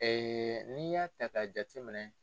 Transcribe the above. n'i y'a ta k'a jate minɛ